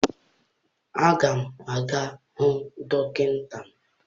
Aga m aga hụ dọkịta m.